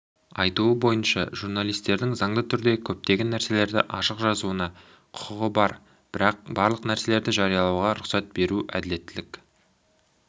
айтуы бойынша журналистердің заңды түрде көптеген нәрселерді ашық жазуына құқығы бар бірақ барлық нәрсені жариялауға рұқсат беру әділеттілік